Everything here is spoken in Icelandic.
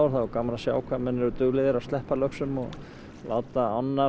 er gaman að sjá hve menn eru duglegir að sleppa löxum og láta ána